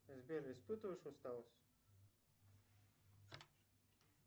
сбер испытываешь усталость